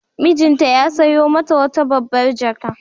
Mijinta ya sayo mata wata babbar jaka.